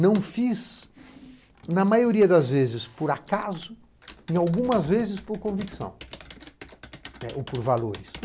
Não fiz, na maioria das vezes, por acaso e algumas vezes por convicção ou por valores.